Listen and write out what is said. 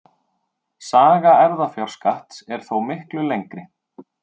Saga erfðafjárskatts er þó miklu lengri.